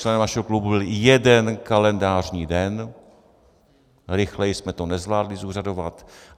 Členem našeho klubu byl jeden kalendářní den, rychleji jsme to nezvládli zúřadovat.